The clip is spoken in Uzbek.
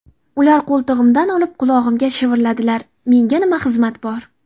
Ular qo‘ltig‘imdan olib qulog‘imga shivirladilar: Menga nima xizmat bor?